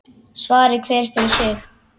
Svari hver fyrir sig.